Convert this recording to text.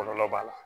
Kɔlɔlɔ b'a la